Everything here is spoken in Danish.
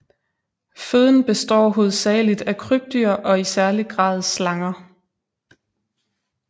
Føden består hovedsageligt af krybdyr og i særlig grad slanger